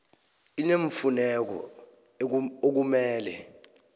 i neemfuneko okumele